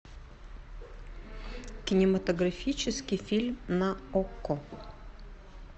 кинематографический фильм на окко